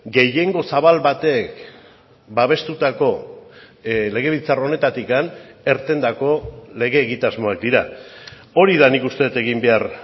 gehiengo zabal batek babestutako legebiltzar honetatik irtendako lege egitasmoak dira hori da nik uste dut egin behar